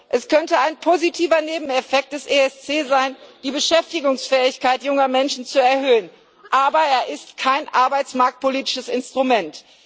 Es könnte ein positiver Nebeneffekt des ESC sein, die Beschäftigungsfähigkeit junger Menschen zu erhöhen, aber er ist kein arbeitsmarktpolitisches Instrument.